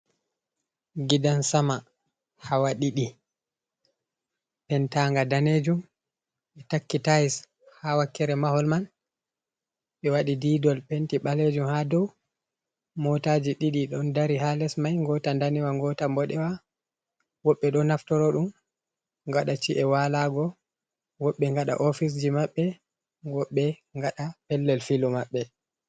Giɗansama hawa ɗiɗi. pentanga ɗanejum be takki tais ha wakkere mahol man be waɗi diɗol penti balejum ha ɗow. motaji ɗiɗi ɗon dari ha les mai. gota ɗanewa, gota boɗewa. Woɓbe ɗo naftoro dum gaɗa ci’e walago. Wobbe gaɗa ofisji mabbe. Wobbe gaɗa pellel filu mabbe.